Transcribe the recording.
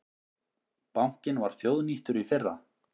Bankinn var þjóðnýttur í fyrra